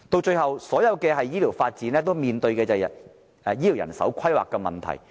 最後，所有的醫療發展均面對醫療人手規劃的問題。